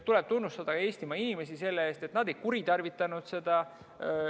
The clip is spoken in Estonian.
Tuleb tunnustada Eestimaa inimesi selle eest, et nad ei kuritarvitanud seda.